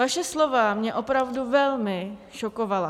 Vaše slova mě opravdu velmi šokovala.